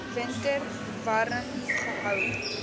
winter warm gehou